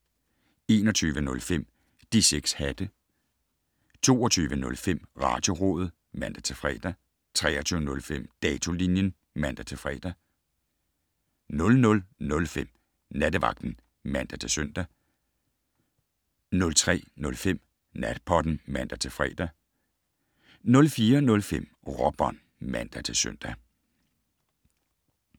21:05: De 6 hatte 22:05: Radiorådet (man-fre) 23:05: Datolinjen (man-fre) 00:05: Nattevagten (man-søn) 03:05: Natpodden (man-fre) 04:05: Råbånd (man-søn)